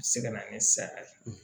Se ka na ni saya ye